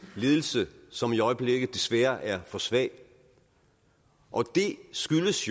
ledelse som i øjeblikket desværre er for svag og det skyldes